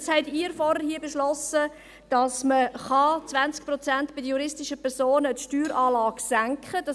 Nun haben Sie vorhin hier beschlossen, dass man die Steueranlage bei den juristischen Personen um 20 Prozent senken kann.